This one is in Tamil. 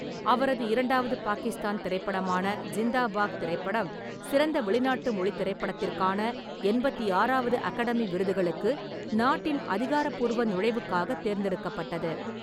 அவரது இரண்டாவது பாகிஸ்தான் திரைப்படமான ஜிண்தா பாக் திரைப்படம் சிறந்த வெளிநாட்டு மொழித் திரைப்படத்திற்கான எண்பத்தி ஆறாவது அகாடமி விருதுகளுக்கு நாட்டின் அதிகாரப்பூர்வ நுழைவுக்காகத் தேர்ந்தெடுக்கப்பட்டது.